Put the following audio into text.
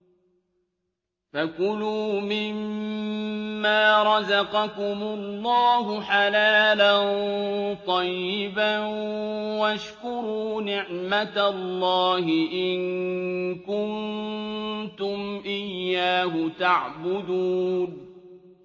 فَكُلُوا مِمَّا رَزَقَكُمُ اللَّهُ حَلَالًا طَيِّبًا وَاشْكُرُوا نِعْمَتَ اللَّهِ إِن كُنتُمْ إِيَّاهُ تَعْبُدُونَ